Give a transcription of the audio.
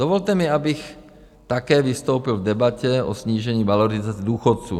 Dovolte mi, abych také vystoupil v debatě o snížení valorizace důchodů.